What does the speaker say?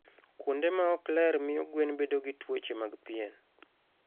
Kuonde ma ok ler miyo gwen bedo gi tuoche mag pien.